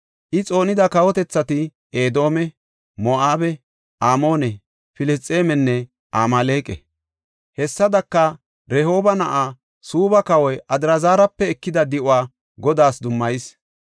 I xoonida kawotethati Edoome, Moo7abe, Amoone, Filisxeemenne Amaaleqa. Hessadaka Rehooba na7aa, Suubba kawa Adraazara ekida di7uwa Godaas dummayis.